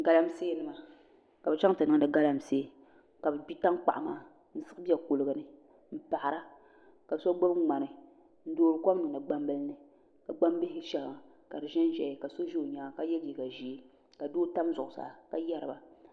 Galamsee nima ka bi chɛŋ ti niŋdi galamsee ka bi gbi tankpaɣu maa n bɛ kuligi ni n paɣara ka so gbubi ŋmani n toori kom niŋdi gnambili ni ka gbambihi ʒiɛhi ka di ʒɛnʒɛya ka so ʒɛ di nyaanga ka yɛ liiga ʒiɛ ka doo tam zuɣusaa ka yɛriba